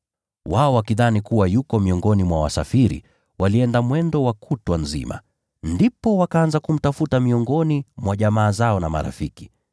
Wao wakidhani kuwa yuko miongoni mwa wasafiri, walienda mwendo wa kutwa nzima. Ndipo wakaanza kumtafuta miongoni mwa jamaa zao na marafiki.